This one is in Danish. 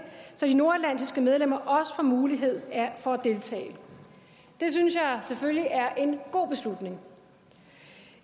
så de nordatlantiske medlemmer også får mulighed for at deltage det synes jeg selvfølgelig er en god beslutning